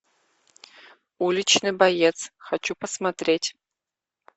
уличный боец хочу посмотреть